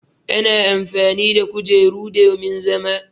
Ana amfani da kujeru domin zama.